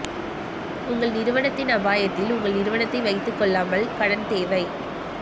உங்கள் நிறுவனத்தின் அபாயத்தில் உங்கள் நிறுவனத்தை வைத்துக் கொள்ளாமல் கடன் தேவை